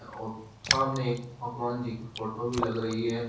और सामने एक भगवान जी की फोटो भी लग रही है।